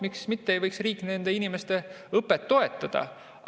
Miks mitte ei võiks riik nende inimeste õpet toetada?